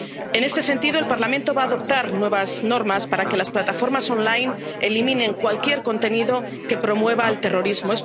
En este sentido, el Parlamento va a adoptar nuevas normas para que las plataformas online eliminen cualquier contenido que promueva el terrorismo.